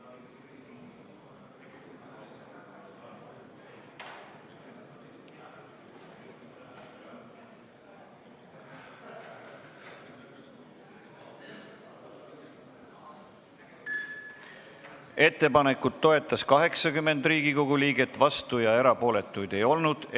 Hääletustulemused Ettepanekut toetas 80 Riigikogu liiget, vastuolijaid ega erapooletuid ei olnud.